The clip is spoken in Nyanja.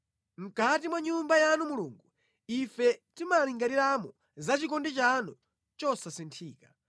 Mʼkati mwa Nyumba yanu Mulungu, ife timalingaliramo zachikondi chanu chosasinthika.